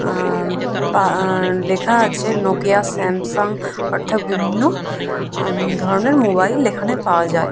আহঃ আঃ লেখা আছে নোকিয়া স্যামসাঙ অর্থাৎ বিভিন্ন হুম ধরনের মোবাইল এখানে পাওয়া যায়।